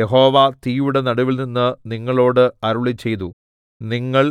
യഹോവ തീയുടെ നടുവിൽനിന്ന് നിങ്ങളോട് അരുളിച്ചെയ്തു നിങ്ങൾ